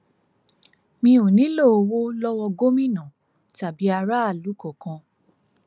mi ò nílò owó lowó gómìnà tàbí aráàlú kankan